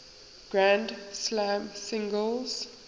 grand slam singles